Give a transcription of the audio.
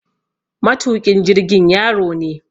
Matuƙin jirgin yaro ne